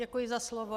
Děkuji za slovo.